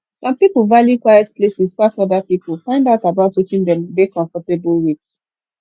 some pipo value quiet places pass oda pipo find out about wetin dem dey comfortable with